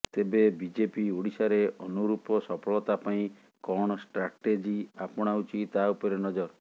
ତେବେ ବିଜେପି ଓଡ଼ିଶାରେ ଅନୁରୂପ ସଫଳତା ପାଇଁ କଣ ଷ୍ଟ୍ରାଟେଜି ଆପଣାଉଛି ତା ଉପରେ ନଜର